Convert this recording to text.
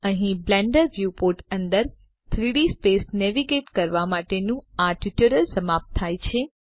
અહીં Blender viewport અંદર 3ડી સ્પેસ નેવિગેટ કરવા માટેનું આ ટ્યુટોરીયલ સમાપ્ત થાય છે